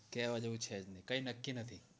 કેવા જેવું છે જ નય કય નકકી નથી